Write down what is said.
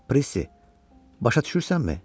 Pressi, başa düşürsənmi?